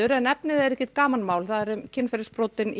en efnið er ekkert gamanmál kynferðisbrotin í